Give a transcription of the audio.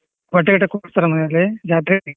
ಬಟ್ಟೆ ಗಿಟ್ಟೇ ಕೊಡಸ್ತಾರ ಮನೆಯಲ್ಲಿ ಜಾತ್ರೆಗೆ.